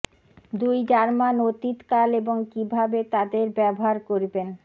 দুই জার্মান অতীত কাল এবং কীভাবে তাদের ব্যবহার করবেন